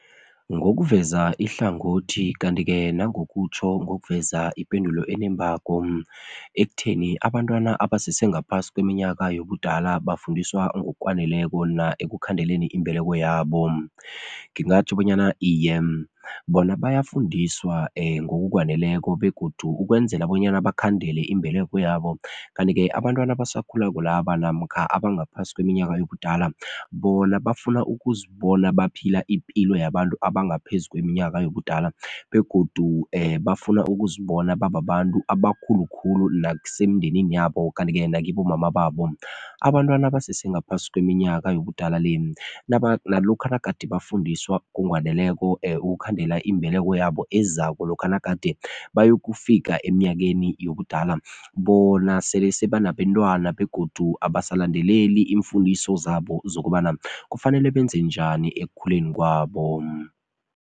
Ngokuveza ihlangothi kanti-ke nangokutjho ngokuveza ipendulo enembako ekutheni abantwana abasese ngaphasi kweminyaka yobudala bafundiswa ngokwaneleko na ekukhandeleni imbeleko yabo. Ngingatjho bonyana iye, bona bayafundiswa ngokukwaneleko begodu ukwenzela bonyana bakhandele imbeleko yabo kanti-ke abantwana abasakhulako laba namkha abangaphasi kweminyaka yobudala bona bafuna ukuzibona baphila ipilo yabantu abangaphezu kweminyaka yobudala begodu bafuna ukuzibona babantu abakhulu khulu nakusemndenini yabo kanti-ke nakibo mama babo. Abantwana abasese ngaphasi kweminyaka yobudala le nalokha nagade bafundiswa ngokwaneleko ukukhandela imbeleko yabo ezako lokha nagade bayokufika eminyakeni yobudala bona sele seba nabentwana begodu abasalandeleli iimfundiso zabo zokobana kufanele benze njani ekukhuleni kwabo.